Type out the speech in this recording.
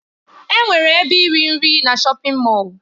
Enwere ebe iri nri na shọpin Mọll.